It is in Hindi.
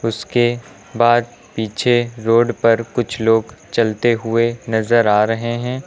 उसके बाद पीछे रोड पर कुछ लोग चलते हुए नजर आ रहे है।